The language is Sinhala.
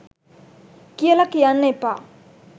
කියල කියන්න එපා.